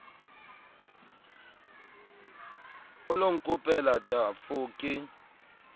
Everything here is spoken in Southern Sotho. o lo nkopela tafo ke